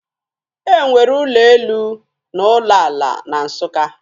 E nwere ụlọ elu na ụlọ ala na Nsụka